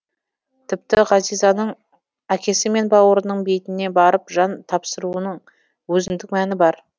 тіпті ғазизаның әкесі мен бауырының бейітіне барып жан тапсыруының өзіндік мәні бар